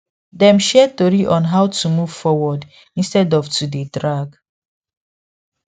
dem share tori on how to move forward instead of to dey drag